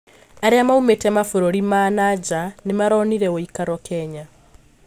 Arĩa maũmite mabũrũri ma na nja nĩmaronire wũikaro Kenya